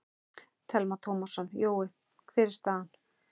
Telma Tómasson: Jói, hver er staðan?